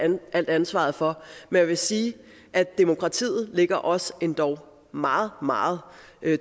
alt ansvaret for jeg vil sige at demokratiet ligger os endog meget meget